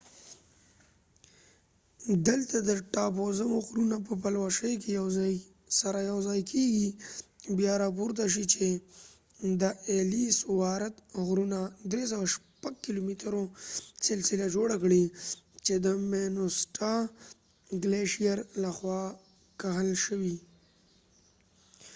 دلته د ټاپووزمو غرونه په پلوشې کې سره یو ځای کیږي بیا راپورته شئ چې د ایلیس وارت غرونو 360 کیلو مترو سلسله جوړه کړئ چې د مینیسوټا ګلیشیر لخوا کښل شوی